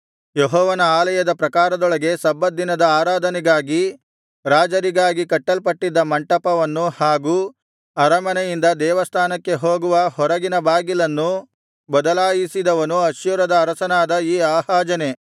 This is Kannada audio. ಯೆಹೋವನ ಆಲಯದ ಪ್ರಾಕಾರದೊಳಗೆ ಸಬ್ಬತ್ ದಿನದ ಆರಾಧನೆಗಾಗಿ ರಾಜರಿಗಾಗಿ ಕಟ್ಟಲ್ಪಟ್ಟಿದ್ದ ಮಂಟಪವನ್ನು ಹಾಗೂ ಅರಮನೆಯಿಂದ ದೇವಸ್ಥಾನಕ್ಕೆ ಹೋಗುವ ಹೊರಗಿನ ಬಾಗಿಲನ್ನೂ ಬದಲಾಯಿಸಿದವನು ಅಶ್ಶೂರದ ಅರಸನಾದ ಈ ಆಹಾಜನೇ